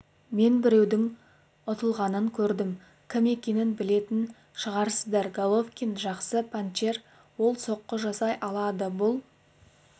мен біреудің ұтылғанын көрдім кім екенін білетін шығарсыздар головкин жақсы панчер ол соққы жасай алады бұл